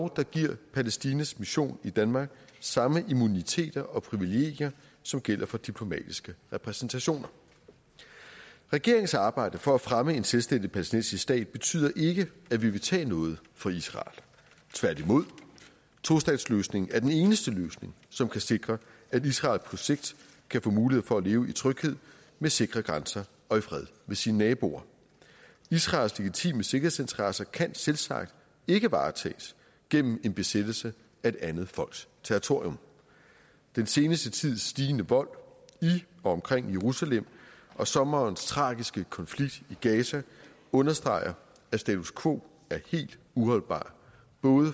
der giver palæstinas mission i danmark samme immuniteter og privilegier som gælder for diplomatiske repræsentationer regeringens arbejde for at fremme en selvstændig palæstinensisk stat betyder ikke at vi vil tage noget fra israel tværtimod tostatsløsningen er den eneste løsning som kan sikre at israel på sigt kan få mulighed for at leve i tryghed med sikre grænser og i fred med sine naboer israels legitime sikkerhedsinteresser kan selvsagt ikke varetages gennem en besættelse af et andet folks territorium den seneste tids stigende vold i og omkring jerusalem og sommerens tragiske konflikt i gaza understreger at status quo er helt uholdbart